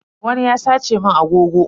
Wani ya sace mun agogo.